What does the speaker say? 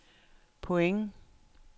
point